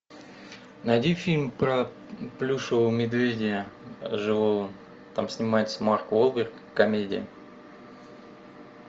найди фильм про плюшевого медведя живого там снимается марк уолберг комедия